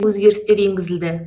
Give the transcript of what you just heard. өзгерістер енгізілді